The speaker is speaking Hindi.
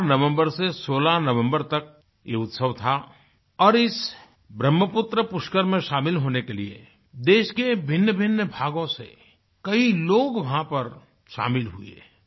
04 नवम्बर से 16 नवम्बर तक ये उत्सव था और इस ब्रहमपुत्र पुष्कर में शामिल होने के लिए देश के भिन्नभिन्न भागों से कई लोग वहाँ पर शामिल हुए हैं